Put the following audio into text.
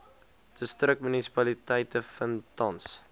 distriksmunisipaliteite vind tans